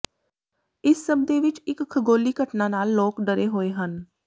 ਇਸ ਸਭ ਦੇ ਵਿੱਚ ਇੱਕ ਖਗੋਲੀ ਘਟਨਾ ਨਾਲ ਲੋਕ ਡਰੇ ਹੋਏ ਹਨ